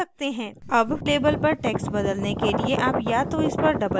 आप या तो इस पर double click कर सकते हैं या इस पर right click कर सकते हैं